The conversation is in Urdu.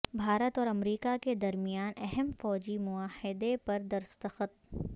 بھارت اور امریکا کے درمیان اہم فوجی معاہدے پر دستخط